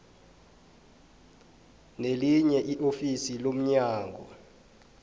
nelinye iofisi lomnyango